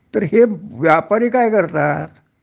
तर हे व्यापारी काय करतात